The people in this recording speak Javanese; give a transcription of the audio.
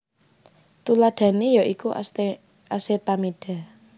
Tuladhané ya iku asetamida